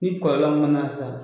Ni kɔlɔlɔ mana sa